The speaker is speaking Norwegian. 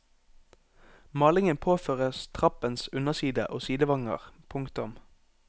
Malingen påføres trappens underside og sidevanger. punktum